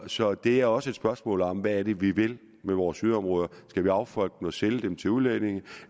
så det er også et spørgsmål om hvad vi vil med vores yderområder skal vi affolke dem og sælge dem til udlændinge